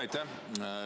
Aitäh!